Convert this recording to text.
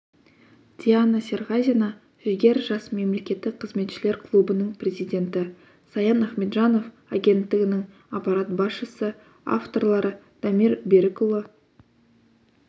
диана серғазина жігер жас мемлекеттік қызметшілер клубының президенті саян ахметжанов агенттігінің аппарат басшысы авторлары дамир берікұлы